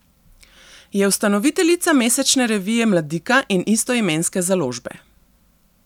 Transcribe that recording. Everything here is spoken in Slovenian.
Je ustanoviteljica mesečne revije Mladika in istoimenske založbe.